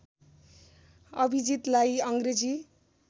अभिजितलाई अङ्ग्रेजी